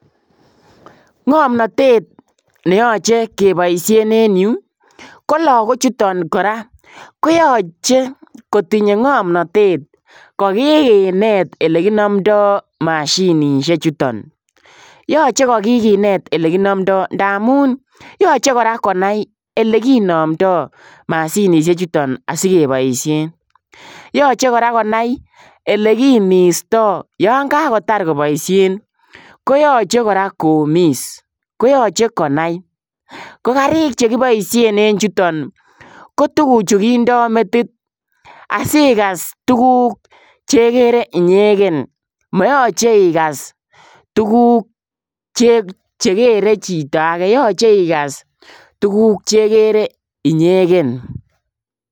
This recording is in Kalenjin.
Ngamnatet neyachei kebaisheen en Yuu ii ko lagook chutoon kora koyachei kotinyei ngamnatet kokineet ole kinamndai mashinisheek chutoon yachei ko kokineet ele kinamndai ndamuun yachei kora konai ele kinamndai mashinisheek chutoon asi kebaisheen yachei kora konai ele kimista yaan kangotaar kobaisheen koyachei kora komis ko yachei konai ko gariik che kibaisheen en yutoon ko tuguchuu kindaa metit asigas tuguuk che kerei inyegen mayachei igas tuguuk chekere chitoo agei yachei iagas tuguuk che kerei inyegen